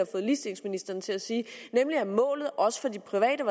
fået ligestillingsministeren til at sige nemlig at målet også for det private